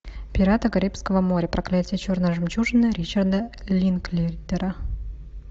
пираты карибского моря проклятие черной жемчужины ричарда линклейтера